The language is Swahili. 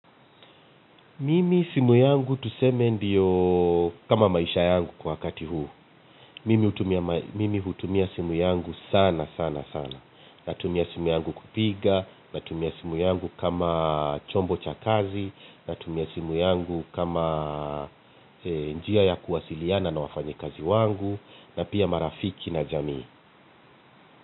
Mimi simu yangu tuseme ndiyo kama maisha yangu kwa wakati huu. Mimi hutumia simu yangu sana sana sana. Natumia simu yangu kupiga, natumia simu yangu kama chombo cha kazi, natumia simu yangu kama njia ya kuwasiliana na wafanyi kazi wangu, na pia marafiki na jamii.